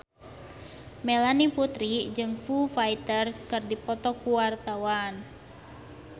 Melanie Putri jeung Foo Fighter keur dipoto ku wartawan